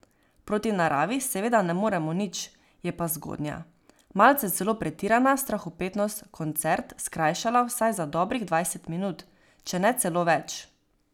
Proti naravi seveda ne moremo nič, je pa zgodnja, malce celo pretirana strahopetnost koncert skrajšala vsaj za dobrih dvajset minut, če ne celo več.